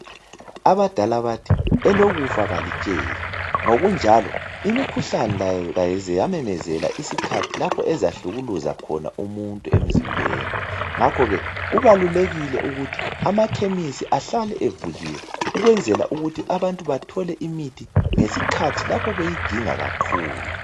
abadala bathi elokufa alitsheli ngokunjalo imikhuhlane ayikaze yamemezela isikhathi lapho eza hlukumeza khona umuntu emzimbeni ngakho ke kubalulekile ukuthi ama khemisi ahlale evuliwe ukwenzela ukuthi abantubathole umuthi ngesikhathi bewudinga kakhulu